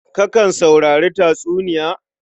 Kakan saurari tatsuniya?